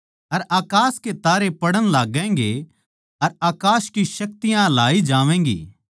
अर अकास के तारे पड़ण लागैगें अर अकास की शक्तियाँ हलाई जावैंगी